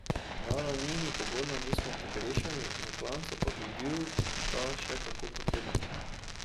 Na ravnini pogona nismo pogrešali, na klancu pa bi bil ta še kako potreben.